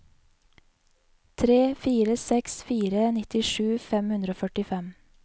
tre fire seks fire nittisju fem hundre og førtifem